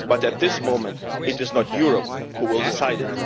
But at this moment it is not Europe which will decide